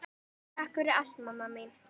Takk fyrir allt, mamma mín.